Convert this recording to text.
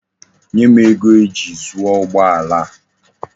Nye m ego eji zuo ugbo ala a.